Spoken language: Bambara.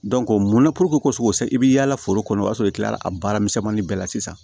mun na ko i bi yaala foro kɔnɔ o y'a sɔrɔ i kilala a baaramisɛnnin bɛɛ la sisan